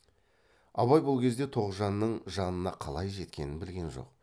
абай бұл кезде тоғжанның жанына қалай жеткенін білген жоқ